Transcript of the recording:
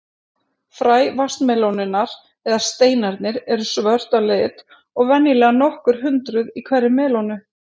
Fræ vatnsmelónunnar, eða steinarnir, eru svört að lit og venjulega nokkur hundruð í hverri melónu.